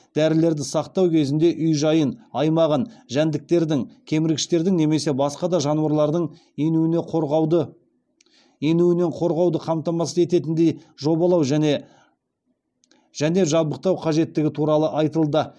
дәрілерді сақтау кезінде үй жайын жәндіктердің кеміргіштердің немесе басқа да жануарлардың енуінен қорғауды қамтамасыз ететіндей жобалау және жабдықтау қажеттігі туралы айтылды